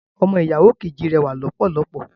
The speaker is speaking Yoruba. Ọmọ ìyàwó kejì rẹwà lọ́pọ̀lọpọ̀